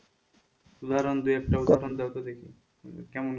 উদাহরণ দু একটা উদাহরণ দাও তো দেখি কেমন